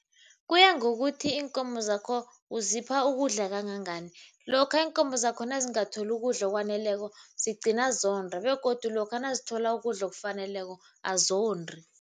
Kuya ngokuthi iinkomo zakho uzipha ukudla kangangani. Lokha iinkomo zakho nazingatholi ukudla okwaneleko zigcina zonda begodu lokha nazithola ukudla okufaneleko azondi.